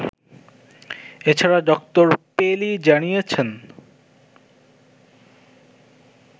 এছাড়া ডক্টর পেলি জানিয়েছেন